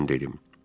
Mən dedim.